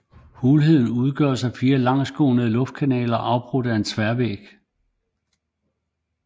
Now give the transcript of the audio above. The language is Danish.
Hulheden udgøres af 4 langsgående luftkanaler afbrudt af tværvægge